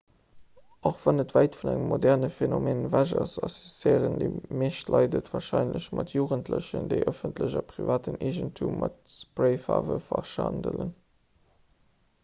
och wann et wäit vun engem moderne phenomen ewech ass associéieren déi meescht leit et warscheinlech mat jugendlechen déi ëffentlechen a privaten eegentum mat sprayfaarwe verschandelen